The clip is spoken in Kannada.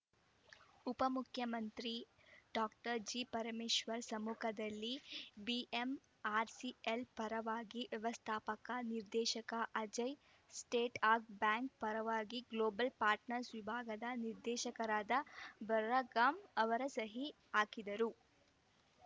ಉಪಮುಖ್ಯಮಂತ್ರಿ ಡಾಕ್ಟರ್ ಜಿಪರಮೇಶ್ವರ್‌ ಸಮ್ಮುಖದಲ್ಲಿ ಬಿಎಂಆರ್‌ಸಿಎಲ್‌ ಪರವಾಗಿ ವ್ಯವಸ್ಥಾಪಕ ನಿರ್ದೇಶಕ ಅಜಯ್‌ ಸೇಟ್ ಹಾಗ್ ಬ್ಯಾಂಕ್‌ ಪರವಾಗಿ ಗ್ಲೋಬಲ್‌ ಪಾಟ್ರ್ನರ್ಸ್ ವಿಭಾಗದ ನಿರ್ದೇಶಕರಾದ ಬರ್ರಗಾಮ್‌ ಅವರು ಸಹಿ ಹಾಕಿದರು